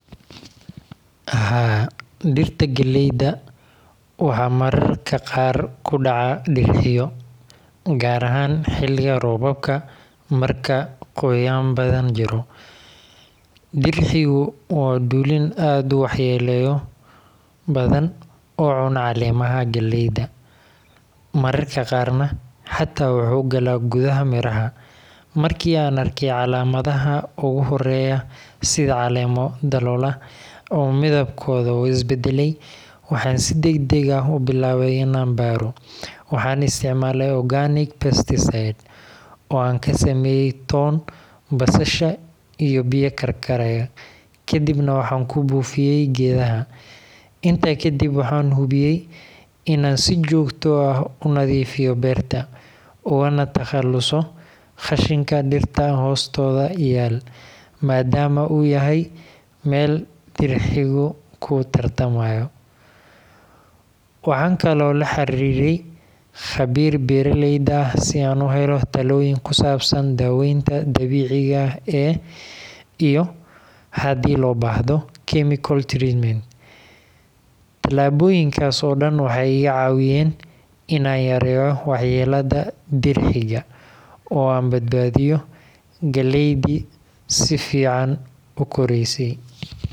Haa, dhirta gallayda waxaa mararka qaar ku dhaca dirxiyo, gaar ahaan xiliga roobabka marka qoyaan badan jiro. Dirxigu waa dulin aad u waxyeello badan oo cuna caleemaha gallayda, mararka qaarna xataa wuxuu galaa gudaha miraha. Markii aan arkay calaamadaha ugu horreeya, sida caleemo daloola ama midabkooda oo is beddelay, waxaan si degdeg ah u bilaabay in aan baaro. Waxaan isticmaalay organic pesticide oo aan ka sameeyay toon, basasha, iyo biyo karkaraya, kadibna waxaan ku buufiyay geedaha. Intaa kadib, waxaan hubiyay in aan si joogto ah u nadiifiyo beerta, ugana takhaluso qashinka dhirta hoostooda yaal, maadaama uu yahay meel dirxigu ku tarmaayo. Waxaan kaloo la xiriiray khabiir beeraley ah si aan u helo talooyin ku saabsan daaweynta dabiiciga ah iyo haddii loo baahdo chemical treatment. Tallaabooyinkaas oo dhan waxay iga caawiyeen in aan yareeyo waxyeellada dirxiga, oo aan badbaadiyo gallaydii si fiican u koraysay.